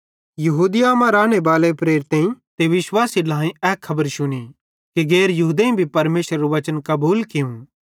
यहूदिया मां रानेबाले प्रेरितेईं ते विश्वासी ढ्लाएईं ए खबर शुनी कि गैर यहूदेईं भी परमेशरेरू बच्चन कबूल कियूं